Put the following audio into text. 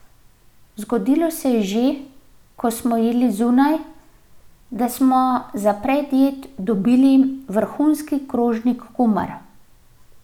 Zgodilo se je že, ko smo jedli zunaj, da smo za predjed dobili vrhunski krožnik kumar.